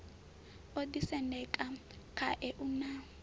o ḓisendeka khae u na